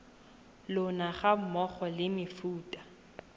lona ga mmogo le mefuta